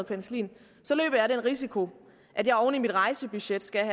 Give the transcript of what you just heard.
penicillin så løber jeg den risiko at jeg oven i mit rejsebudget skal